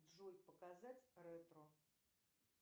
джой показать ретро